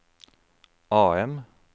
AM